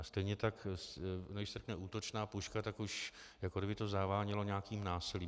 A stejně tak když se řekne útočná puška, tak už jako kdyby to zavánělo nějakým násilím.